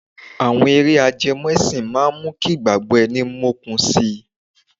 Àwọn eré ajẹmọ́ ẹsìn máa mú kí ìgbàgbọ́ ẹni mókun si.